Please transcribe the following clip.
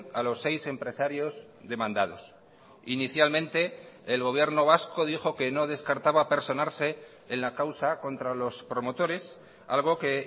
a los seis empresarios demandados inicialmente el gobierno vasco dijo que no descartaba personarse en la causa contra los promotores algo que